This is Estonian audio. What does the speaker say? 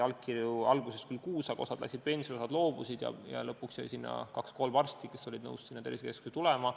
Allkirju saadi alguses küll kuus, aga osa läks pensionile, osa loobus ja lõpuks jäi sinna kaks-kolm arsti, kes olid nõus sinna tervisekeskusesse tulema.